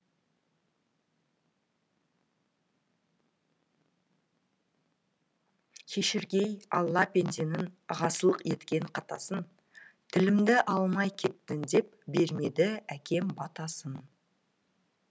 кешіргей алла пенденің ғасылық еткен қатасын тілімді алмай кеттің депбермеді әкем батасын